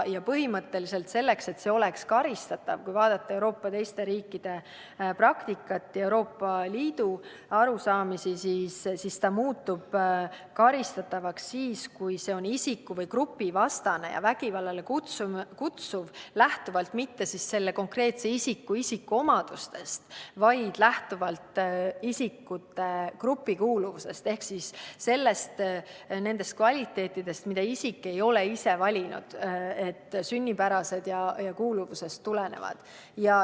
Ja põhimõtteliselt selleks, et vaenamine oleks karistatav – kui vaadata teiste Euroopa riikide praktikat ja Euroopa Liidu arusaamisi –, peab see olema isiku- või grupivastane ja vägivallale kutsuv mitte konkreetse isiku isikuomadustest lähtuvalt, vaid lähtuvalt isiku grupikuuluvusest ehk nendest omadustest, mida isik ei ole ise valinud, vaid mis on sünnipärased ja kuuluvusest tulenevad.